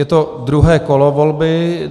Je to druhé kolo volby.